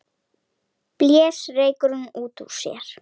Blés reyknum út úr sér.